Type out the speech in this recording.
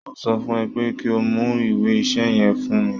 Mo sọ fún ẹ pé kí o mú ìwé iṣẹ́ yẹn fún mi